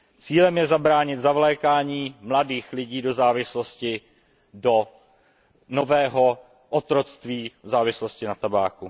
Cílem je zabránit zavlékání mladých lidí do závislosti, do nového otroctví závislosti na tabáku.